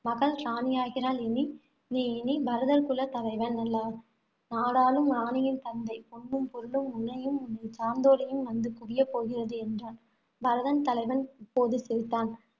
மகள் ராணியாகிறாள் இனி நீ இனி பரதர் குல தலைவன் அல்ல நாடாளும் ராணியின் தந்தை பொன்னும், பொருளும் உன்னையும், உன்னைச் சார்ந்தோரையும் வந்து குவியப் போகிறது, என்றான். பரதர் தலைவன் இப்போது சிரித்தான்